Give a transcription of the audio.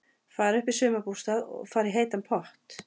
Fara upp í sumarbústað og fara í heitan pott.